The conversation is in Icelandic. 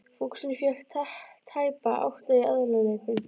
Fúxinn fékk tæpa átta í aðaleinkunn.